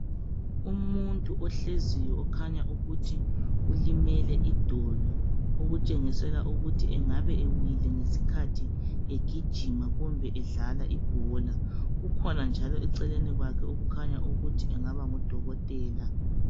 Umuntu ohleziyo okhanya ukuthi ulimele idolo okutshengisela ukuthi engabe ewile ngesikhathi egijima kumbe edlala ibhola. Kukhona njalo eceleni kwakhe okhanya ukuthi engaba ngudokotela.